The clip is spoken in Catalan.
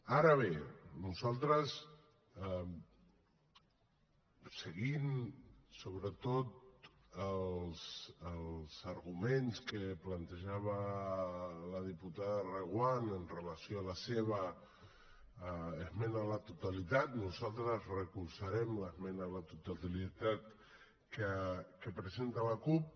ara bé nosaltres seguint sobretot els arguments que plantejava la diputada reguant amb relació a la seva esmena a la totalitat recolzarem l’esmena a la totalitat que presenta la cup